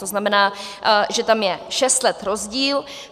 To znamená, že tam je šest let rozdíl.